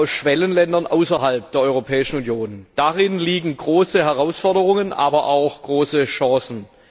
auch aus Schwellenländern außerhalb der Europäischen Union. Darin liegen große Herausforderungen, aber auch große Chancen.